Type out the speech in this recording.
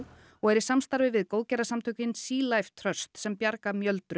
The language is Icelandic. og er í samstarfi við góðgerðarsamtökin Sea Life Trust sem bjarga